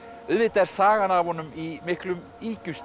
auðvitað er sagan af honum í miklum